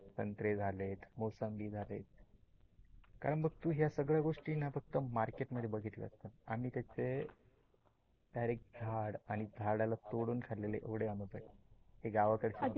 संत्रे झाले, मोसंबी झाले कारण तू या सगळ्या गोष्टीना फक्त market मध्ये बघितलेले असणार. आम्ही कशे direct झाड आणि झाडाला तोडून खाल्लेले खोडे. गावाकडे